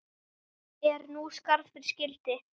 Er nú skarð fyrir skildi.